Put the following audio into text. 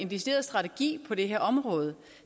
decideret strategi på det her område